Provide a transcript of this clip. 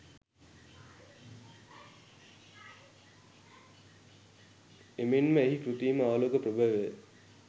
එමෙන්ම එහි කෘත්‍රිම ආලෝක ප්‍රභවය